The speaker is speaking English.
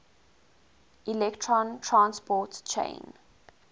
electron transport chain